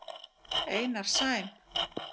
Einar Sæm.